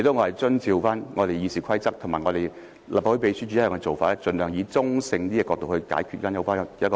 我只是按照《議事規則》和立法會秘書處的一貫做法，盡量從比較中性的角度發表有關報告。